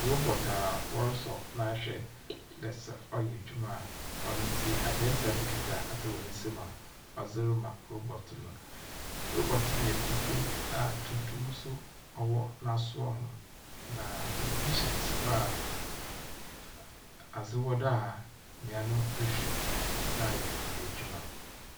Robot a wɔrosɔ no ahwɛ dɛ sɛ ɔyɛ edwuma a, ɔno ntsi aberantsɛ no kitsa adze wɔ nsamu a ɔdze rema robot no. robot no yɛ fufuw a tuntum wɔ n’asowa ho, na tɛlɛbihyɛn si hɔ a adze wɔ do a nyia no rohwɛ dze ayɛ n’edwuma.